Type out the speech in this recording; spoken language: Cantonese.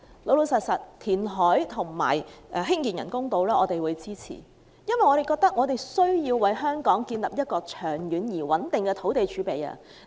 我們支持填海興建人工島，因為我們認為香港需要建立長遠而穩定的土地儲備。